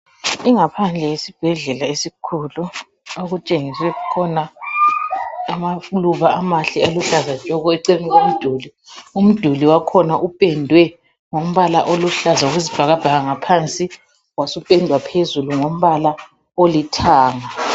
Ingaphandle yesibhedlela esikhulu okutshengiswe amaluba amakhulu aluhlaza tshoko eceleni komduli. Umduli wakhona upendwe ngombala oluhlaza okwe bhakabhaka ngaphansi wasupendwa phezulu ngombala olithanga.